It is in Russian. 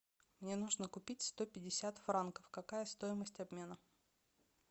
мне нужно купить сто пятьдесят франков какая стоимость обмена